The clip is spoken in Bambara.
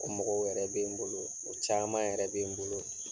O mɔgɔw yɛrɛ bɛ n bolo, o caman yɛrɛ bɛ n bolo.